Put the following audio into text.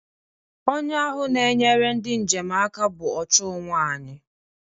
Onye ahụ na-enyere ndị njem aka bụ ọ chụụ nwanyị